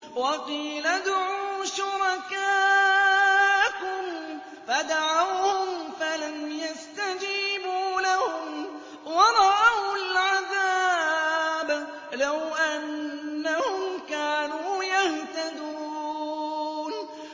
وَقِيلَ ادْعُوا شُرَكَاءَكُمْ فَدَعَوْهُمْ فَلَمْ يَسْتَجِيبُوا لَهُمْ وَرَأَوُا الْعَذَابَ ۚ لَوْ أَنَّهُمْ كَانُوا يَهْتَدُونَ